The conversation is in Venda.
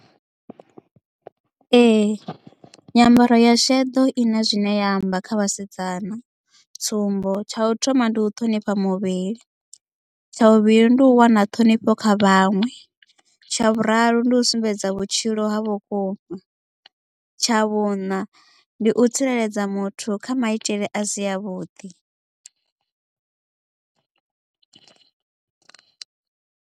Ee nyambaro ya sheḓo i na zwine ya amba kha vhasidzana tsumbo tsha u thoma ndi u ṱhonifha muvhili tsha vhuvhili ndi u wana ṱhonifho kha vhaṅwe tsha vhuraru ndi u sumbedza vhutshilo ha vhukuma tsha vhuṋa ndi u tsireledza muthu kha maitele a si a vhuḓi.